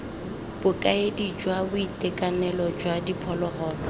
bokaedi jwa boitekanelo jwa diphologolo